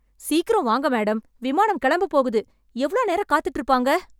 சீக்கிரம் வாங்க மேடம், விமானம் கெளம்பப் போகுது... எவ்ளோ நேரம் காத்துட்டு இருப்பாங்க?